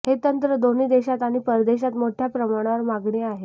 हे तंत्र दोन्ही देशात आणि परदेशात मोठ्या प्रमाणावर मागणी आहे